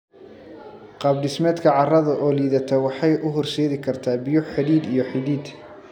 Qaab dhismeedka carrada oo liidata waxay u horseedi kartaa biyo-xidid iyo xidid.